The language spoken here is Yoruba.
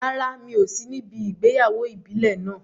Rárá, mi ò sí níbi ìgbéyàwó ìbílẹ̀ náà.